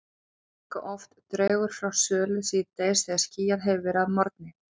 Álíka oft dregur frá sólu síðdegis þegar skýjað hefur verið að morgni.